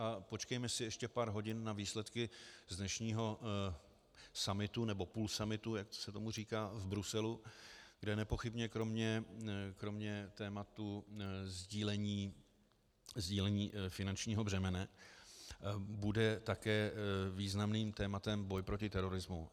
A počkejme si ještě pár hodin na výsledky z dnešního summitu, nebo půlsummitu, jak se tomu říká v Bruselu, kde nepochybně kromě tématu sdílení finančního břemene bude také významným tématem boj proti terorismu.